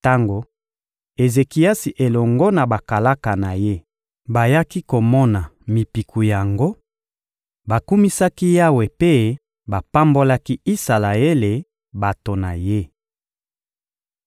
Tango Ezekiasi elongo na bakalaka na ye bayaki komona mipiku yango, bakumisaki Yawe mpe bapambolaki Isalaele, bato na Ye.